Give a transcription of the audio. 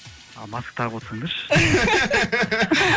маска тағып отсаңдаршы